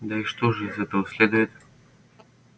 да и что же из этого следует